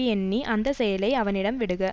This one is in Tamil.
எண்ணி அந்த செயலை அவனிடம் விடுக